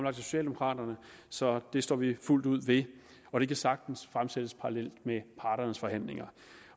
af socialdemokraterne så det står vi fuldt ud ved og det kan sagtens fremsættes parallelt med parternes forhandlinger